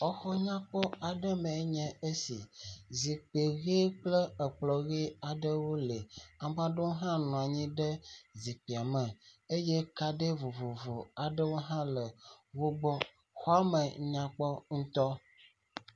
Exɔ nyakpɔ aɖe me nye esi. Zikpui ʋi kple ekplɔ ʋi aɖewo li. Ame ɖewo hã nɔ anyi ɖe zikpuia me eye kaɖi vovovo aɖewo hã le wogbɔ. Xɔme nyakpɔ ŋutɔ.